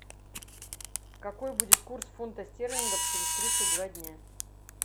какой будет курс фунта стерлингов через тридцать два дня